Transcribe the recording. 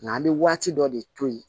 Nka an bɛ waati dɔ de to yen